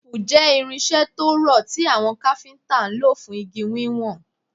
Teepu jẹ irinṣẹ to rọ ti awọn Káfíntà lo fun igi wiwọn